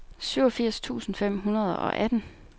syvogfirs tusind fem hundrede og atten